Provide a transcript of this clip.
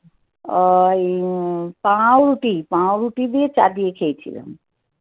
ওই পাউরুটি, পাউরুটি দিয়ে চা দিয়ে খেয়েছিলাম.